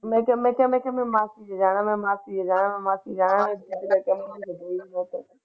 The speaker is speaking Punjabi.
ਮੈਂ ਮਾਸੀ ਤੇ ਜਾਣਾ ਮੈਂ ਮਾਸੀ ਦੇ ਜਾਣਾ ਮੈਂ ਮਾਸੀ ਦੇ ਜਾਣਾ।